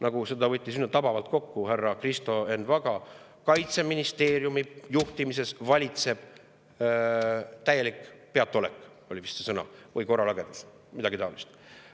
Nagu võttis tabavalt kokku härra Kristo Enn Vaga: Kaitseministeeriumi juhtimises valitseb täielik peataolek või korralagedus, midagi taolist.